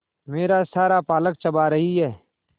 मेरा सारा पालक चबा रही है